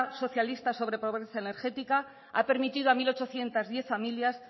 socialista pobre pobreza energética ha permitido a dos mil ochocientos diez familias